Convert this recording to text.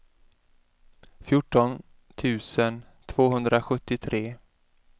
fjorton tusen tvåhundrasjuttiotre